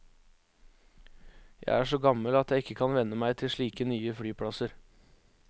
Jeg er så gammel at jeg ikke kan venne meg til slike nye flyplasser.